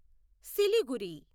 Siliguri